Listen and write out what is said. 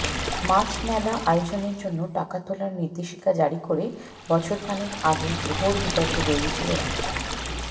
মাছ মেলা আয়োজনের জন্য টাকা তোলার নির্দেশিকা জারি করে বছরখানেক আগে ঘোর বিতর্কে জড়িয়েছিল রাজ্য